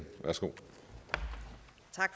og